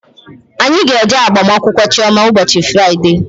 Anyị ga-eje agbamakwụkwọ Chioma ụbọchị Fraịdee